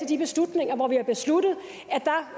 de beslutninger hvor vi har besluttet